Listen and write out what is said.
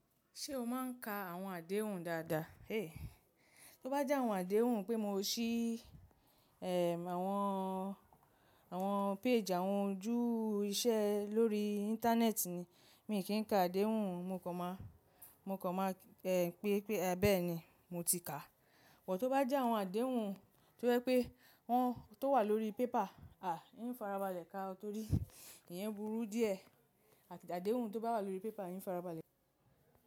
Ṣé o máa ń ka àwọn àdéhùn dáadáa? Tó bá jẹ́ àwọn àdéhùn pé mo sì, àwọn, àwọn page àwọn ojú iṣẹ́ lórí Íńtánẹ́ẹ̀tì ni, mi ò kí ń ka àdéhùn, mo kàn máa, mo kàn máa, e, pé, pé bẹ́ẹ̀ ni mo ti kà. But, tó bá jẹ́ àwọn àdéhùn tó jẹ́ pé wọ́n tó wà lórí paper, à, ìin fara balẹ̀ ka o torí ìyẹn burú díẹ̀ àti àdéhùn tó bá wà lórí paper ìin fara balẹ̀ ka o.